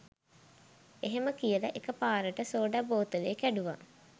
එහෙම කියල එක පාරට සෝඩා බෝතලේ කැඩුව